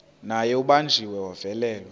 naye ubanjiwe wavalelwa